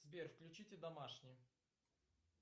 сбер включите домашний